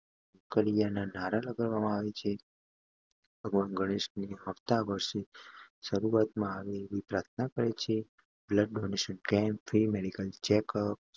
લૌકરીયા ના નારા લગાવે છે અને ભગવાન ગણેશને આવતા વર્ષની શરૂઆતમાં આવે તેવી પ્રાર્થના કરે છે. Blood donation camp free medical checkup